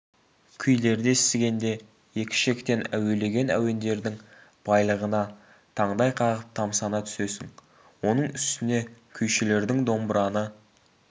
күйлерді естігенде екі ішектен әуелеген әуендердің байлығына таңдай қағып тамсана түсесің оның үстіне күйшілердің домбыраны